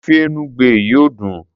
ofe enugbe yìí ò dùn.